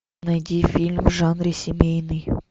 найди фильм в жанре семейный